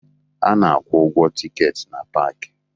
A na-akwụ ụgwọ tikeeti na paakị